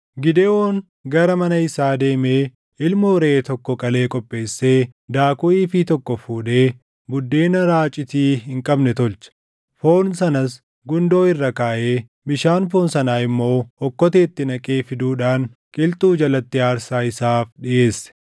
Gidewoon gara mana isaa deemee ilmoo reʼee tokko qalee qopheessee daakuu iifii tokkoo fuudhee buddeena raacitii hin qabne tolche. Foon sanas gundoo irra kaaʼee bishaan foon sanaa immoo okkoteetti naqee fiduudhaan qilxuu jalatti aarsaa isaaf dhiʼeesse.